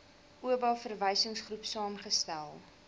oba verwysingsgroep saamgestel